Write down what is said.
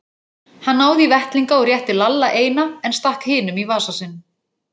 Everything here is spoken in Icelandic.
Hann náði í vettlinga og rétti Lalla eina, en stakk hinum í vasa sinn.